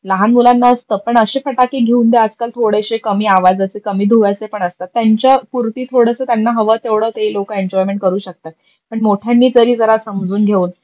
लहान मुलांना आपण अशे फटाके घेऊन द्यात का थोडेशे कमी आवाजाचे कमी धुव्याचे पण असतात. त्यांच्यापुरती थोडस त्यांना हवं तेवड ते लोक एनजॉयमेंट करू शकता. पण मोठ्यांनी तरी जरा समजून घेऊन